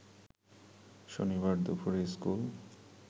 শনিবার দুপুরে স্কুল